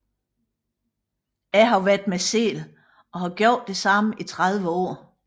Jeg har været mig selv og gjort det samme i 30 år